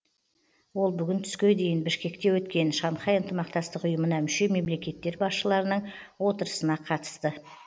ол бүгін түске дейін бішкекте өткен шанхай ынтымақтастық ұйымына мүше мемлекеттер басшыларының отырысына қатысты